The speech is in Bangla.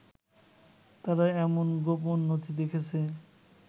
তারা এমন গোপন নথি দেখেছে